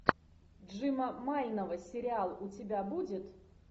джима майнова сериал у тебя будет